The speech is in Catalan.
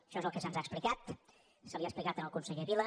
això és el que se’ns ha explicat se li ha explicat al conseller vila